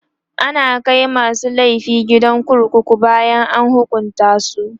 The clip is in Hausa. ana Kai masu laifi gidan kurkuku bayan an hukunta su